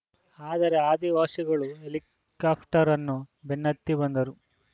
ಆದರೆ ಆದಿವಾಸಿಗಳು ಹೆಲಿಕಾಪ್ಟರ್‌ ಅನ್ನು ಬೆನ್ನತ್ತಿ ಬಂದರು